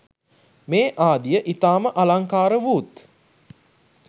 මේ ආදීය ඉතාම අලංකාරවූත්